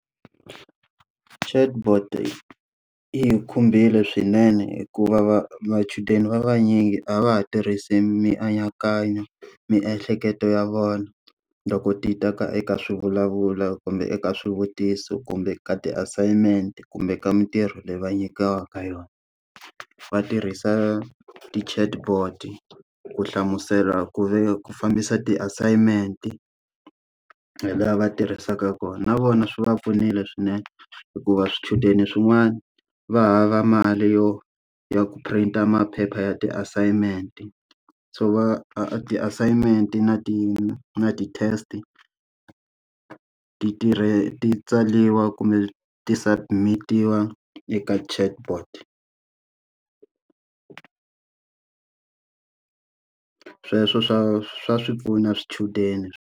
Chatbot yi hi khumbile swinene hikuva machudeni va vanyingi a va ha tirhisi mianakanyo miehleketo ya vona loko ti ta ka eka swivulavulo, kumbe eka swivutiso, kumbe ka ti assignment, kumbe ka mintirho leyi va nyikiwaka yona. Va tirhisa ti-chatbot ku hlamusela ku ku fambisa ti-assignment, hi laha va tirhisaka kona. Na vona swi va pfunile swinene hikuva swichudeni swin'wana va hava mali yo ya ku print-a maphepha ya ti assignment. So va a a ti-assignment na ti na ti-test-i ti ti tsariwa kumbe ti-submit-iwa eka chatbot. Sweswo swa swa swi pfuna swichudeni.